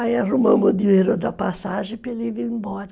Aí arrumamos o dinheiro da passagem para ele vir embora.